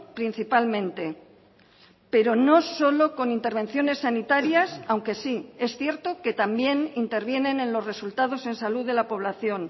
principalmente pero no solo con intervenciones sanitarias aunque sí es cierto que también intervienen en los resultados en salud de la población